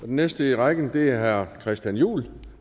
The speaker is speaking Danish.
den næste i rækken er herre christian juhl